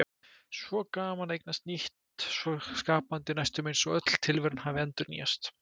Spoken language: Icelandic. Svo gaman að eignast nýtt, svo skapandi, næstum eins og öll tilveran hafi endurnýjast.